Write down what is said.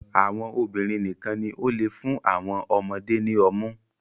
Àwọn obìnrin nìkan ní o le fún awọn ọmọde ni ọmu